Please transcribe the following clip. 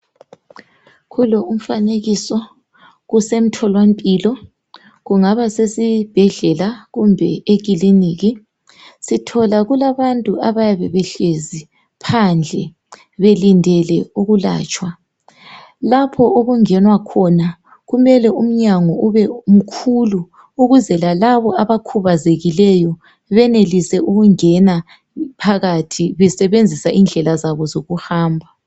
Kulo umfanekiso kusethola mpilo kungaba sesibhedlela kumbe ecliniki sithola kulabantu abayabe behlezi phandle belindele ukulatshwa lapho okungenwa khona kumele umnyango ube mkhulu ukuze lalaba abakhubazekileyo benelise ukungena phakathi besebenzisa indlela zabo zokuhamba